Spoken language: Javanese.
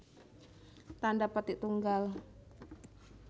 Tandha petik tunggal